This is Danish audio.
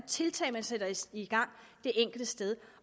tiltag der sættes i gang det enkelte sted